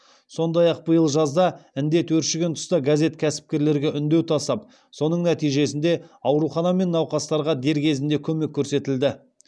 сондай ақ биыл жазда індет өршіген тұста газет кәсіпкерлерге үндеу тастап соның нәтижесінде аурухана мен науқастарға дер кезінде көмек көрсетілді